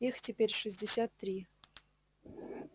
их теперь шестьдесят три